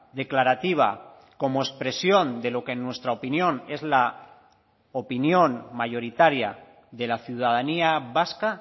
declarativa como expresión de lo que en nuestra opinión es la opinión mayoritaria de la ciudadanía vasca